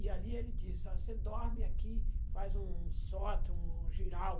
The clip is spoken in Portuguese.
E ali ele disse, você dorme aqui, faz um sótão, um giral.